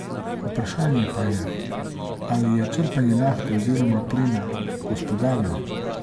Vprašanje pa je, ali je črpanje nafte oziroma plina gospodarno.